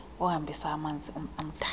ohambisa amanzi amdaka